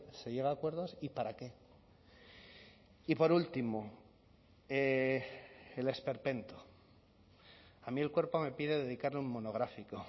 se llega a acuerdos y para qué y por último el esperpento a mí el cuerpo me pide dedicarle un monográfico